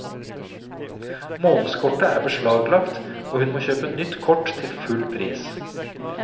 Månedskortet er beslaglagt, og hun må kjøpe nytt kort til full pris.